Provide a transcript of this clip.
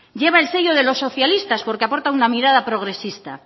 lleva el sello de los socialistas porque aporta una mirada progresista